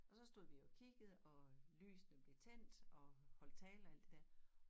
Og så stod vi jo og kiggede og lysene blev tændt og holdt tale og alt det dér